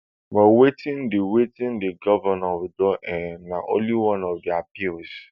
but wetin di wetin di govnor withdraw um na one of di appeals